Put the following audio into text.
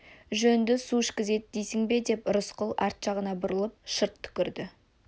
жөнді су ішкізеді дейсің бе деп рысқұл арт жағына бұрылып шырт түкірді